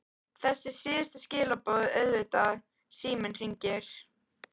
Þessi síðustu skilaboð auðvitað- Síminn hringir.